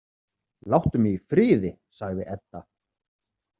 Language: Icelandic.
Láttu mig í friði, sagði Edda.